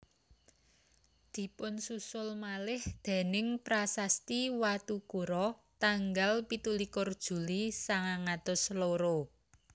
Dipunsusul malih déning prasasti Watukura tanggal pitu likur Juli sangang atus loro